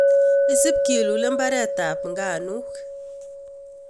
Isib kilule mbaretab nganuk.